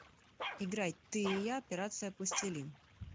играй ты и я операция пластилин